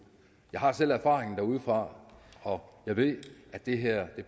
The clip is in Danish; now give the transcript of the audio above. jeg har selv erfaring derudefra og jeg ved at det her